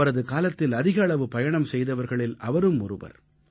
அவரது காலத்தில் அதிக அளவு பயணம் செய்தவர்களில் அவரும் ஒருவர்